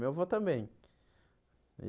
Meu avô também e.